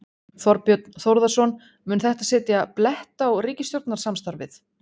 Þorbjörn Þórðarson: Mun þetta setja blett á ríkisstjórnarsamstarfið?